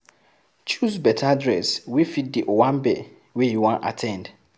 Choose better dress wey fit di owambe wey you wan at ten d